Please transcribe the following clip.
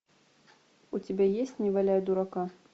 у тебя есть не валяй дурака